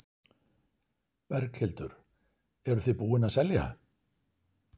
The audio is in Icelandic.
Berghildur: Eruð þið búin að selja?